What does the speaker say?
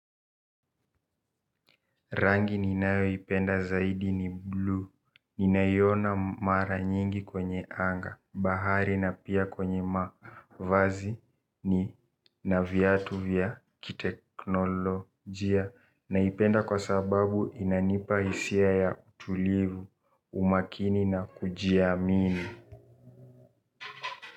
Rangi ni nayo ipenda zaidi ni blue, ni naiona mara nyingi kwenye anga, bahari na pia kwenye mavazi ni na viatu vya kiteknolojia naipenda kwa sababu inanipa hisia ya utulivu, umakini na kujiamini.